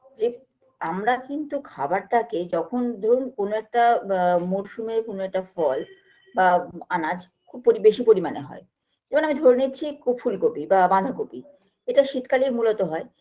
যে আমরা কিন্তু খাবারটাকে যখন ধরুন কোনো একটা বা মরশুমের কোনো একটা ফল বা আনাজ খুব পরি বেশি পরিমাণে হয় এবং আমি ধরে নিচ্ছি কু ফুলকপি বা বাঁধাকপি এটা শীতকালেই মূলত হয়